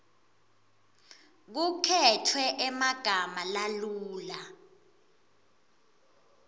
kukhetfwe emagama lalula